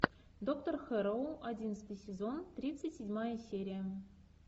доктор хэрроу одиннадцатый сезон тридцать седьмая серия